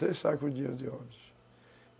Três sacos com dinheiro de Óbidos.